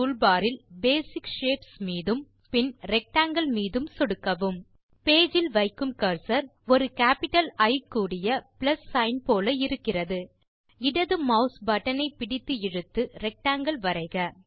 drawing toolbarஇல் basic shapes மீதும் பின் ரெக்டாங்கில் மீதும் சொடுக்கவும் பேஜ் இல் வைக்கும் கர்சர் ஒரு கேப்பிட்டல் இ கூடிய பிளஸ் சிக்ன் போல இருக்கிறது இடது மாஸ் பட்டன் ஐ பிடித்து இழுத்து ரெக்டாங்கில் வரைக